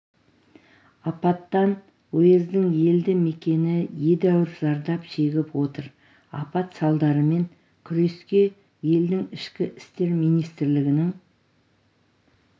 апаттан уездің елді мекені едәуір зардап шегіп отыр апат салдарымен күреске елдің ішкі істер министрлігінің